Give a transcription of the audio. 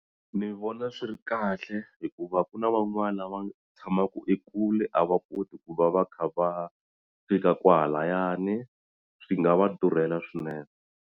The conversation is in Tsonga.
Ni vona swi ri kahle hikuva ku na van'wani lava tshamaka ekule a va koti ku va va kha va fika kwalayani swi nga va durhela swinene.